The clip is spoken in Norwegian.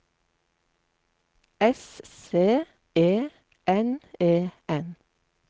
S C E N E N